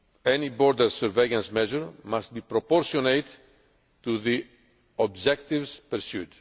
Any border surveillance measure must be proportionate to the objectives pursued.